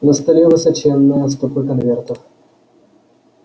на столе высоченная стопка конвертов